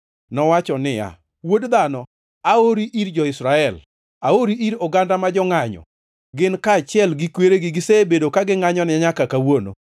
Nowacho niya; “Wuod dhano, aori ir jo-Israel. Aori ir oganda ma jongʼanyo. Gin kaachiel gi kweregi gisebedo ka gingʼanyona nyaka kawuono.